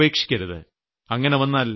പകുതിവെച്ച് ഉപേക്ഷിക്കരുത്